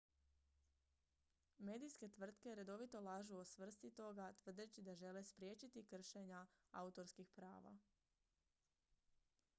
"medijske tvrtke redovito lažu o svrsi toga tvrdeći da žele "spriječiti kršenja autorskih prava"".